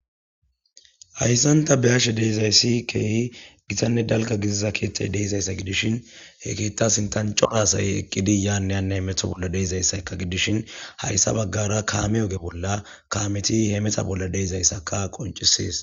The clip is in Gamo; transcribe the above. hayssanta be ashe deezayssikeehi gitanne dalka gidiza keeththay deizayssa gidishin he keetta sintancorasay eqqidi yaaneyanney metho bolla deeizayssakka gidishin hayssa baggara kaame oge bolla kameti he mexa bolla deizayssaka qoncisees